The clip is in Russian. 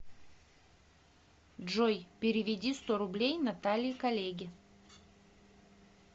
джой переведи сто рублей наталье коллеге